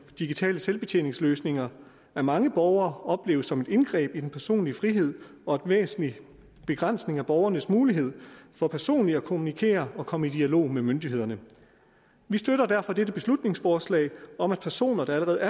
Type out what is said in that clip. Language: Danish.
digitale selvbetjeningsløsninger af mange borgere opleves som et indgreb i den personlige frihed og væsentlig begrænsning af borgernes mulighed for personligt at kommunikere og komme i dialog med myndighederne vi støtter derfor dette beslutningsforslag om at personer der